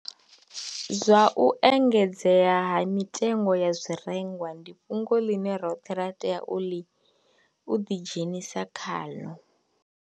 Zwa u engedzea ha mitengo ya zwirengwa ndi fhungo ḽine roṱhe ra tea uli u ḓi dzhenisa khaḽo.